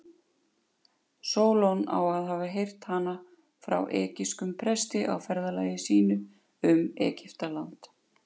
Sólon á svo að hafa heyrt hana frá egypskum presti á ferðalagi sínu um Egyptaland.